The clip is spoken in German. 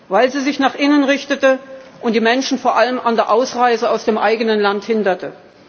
hatte, weil sie sich nach innen richtete und die Menschen vor allem an der Ausreise aus dem eigenen Land hinderte.